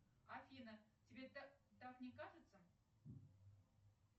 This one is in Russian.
афина тебе так не кажется